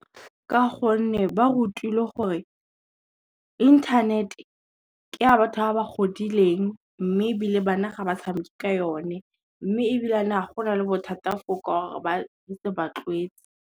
Ka gonne ba re rutilwe gore, internet-e ke a batho ba ba godileng mme ebile bana ga ba tshameke ka yone, mme ebilane ga go na le bothata .